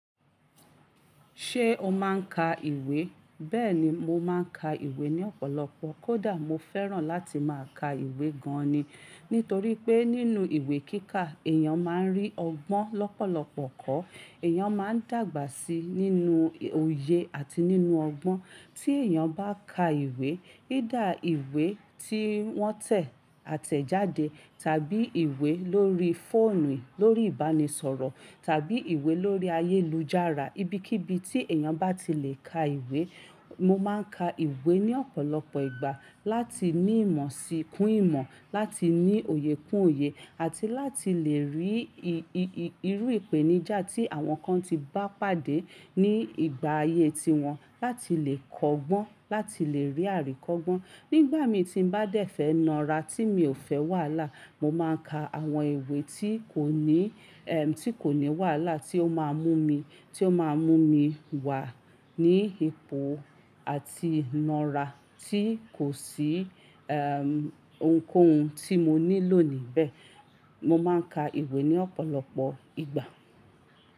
Ṣé o máa ń ka ìwé? Bẹ́ẹ̀ni, mo máa ń ka ìwé ní ọ̀pọ̀lọpọ̀. Kódà mo fẹ́ràn láti máa ka ìwé gan ni. Nítorí pé nínú ìwé kíkà èèyàn máa ń rí ọgbọ́n lọ́pọ̀lọpọ̀ kọ́. Ẹ̀yàn máa ń dàgbà sí i nínú òye àti nínú ọgbọ́n. Tí èèyàn bá ka ìwé, ida ìwé tí wọ́n tẹ̀ àtẹ̀jáde tàbí ìwé lórí fóònù lórí ìbánisọ̀rọ̀ tàbí ìwé lórí ayélujára, ibikíbi tí èèyàn bá ti le ka ìwé. Mo máa ń ka ìwé ní ọ̀pọ̀lọpọ̀ ìgbà láti ní ìmọ̀ sí kún ìmọ̀, láti ní òye kún òye àti láti lè rí irú ìpèníjà tí àwọn kan ti bá pàdé ní ìgbà ayé tiwọn. Láti lè kọ́gbọ́n, láti lè rí àríkọ́gbọ́n. Nígbà mi tí mo bá dẹ̀ fẹ̀ nara tí mi ò fẹ́ wàhálà, mo máa ka àwọn ìwé tí kò ní, ẹm tí kò ní wàhálà tí ó máa mú mi, tí ó máa mú mi wà ní ipò àti ìnara tí kò sí ẹm ohunkóhun tí mo níílò níbẹ̀. Mo máa ń ka ìwé ní ọ̀pọ̀lọpọ̀ ìgbà.